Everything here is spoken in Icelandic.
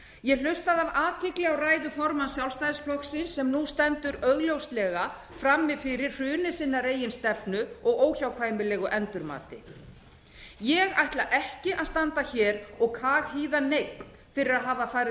ég hlustaði af athygli á ræðu formanns sjálfstæðisflokksins sem nú stendur augljóslega frammi fyrir hruni sinnar eigin stefnu og óhjákvæmilegu endurmati ég ætla ekki að standa hér og kaghýða neinn fyrir að hafa